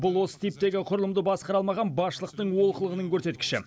бұл осы типтегі құрылымды басқара алмаған басшылықтың олқылығының көрсеткіші